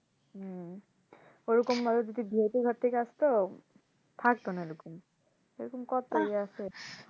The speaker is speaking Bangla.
উম ঐরকম ভাবে যদি ভিআইপি ঘর থেকে আসতো থাকতো না এই রকম এইরকম কতই